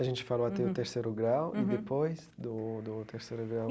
A gente falou até o terceiro grau e depois do do terceiro grau.